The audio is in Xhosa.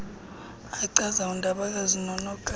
achaza undabakazi nonokapa